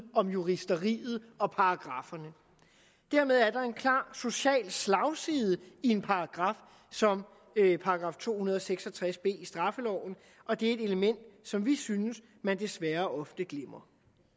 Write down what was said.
om juristeriet og paragrafferne dermed er der en klar social slagside i en paragraf som § to hundrede og seks og tres b i straffeloven og det er et element som vi synes at man desværre ofte glemmer